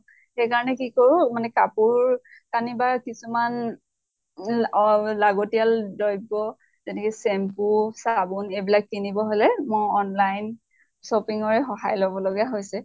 সেই কাৰণে কি কৰো, মানে কাপোৰ কানি বা কিছুমান লাগতিয়াল দ্ৰৈব্য় যেনেকে shampoo চাবোন এইবিলাক কিনিব হলে মই online shopping ৰে সহায় লব লগা হৈছে।